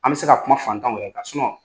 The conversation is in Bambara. An bɛ se ka kuma fantanw yɛrɛ kan